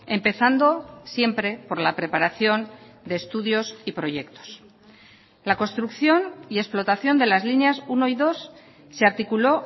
empezando siempre por la preparación de estudios y proyectos la construcción y explotación de las líneas uno y dos se articuló